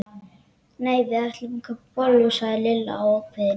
Nei, við ætlum að kaupa bollur sagði Lilla ákveðin.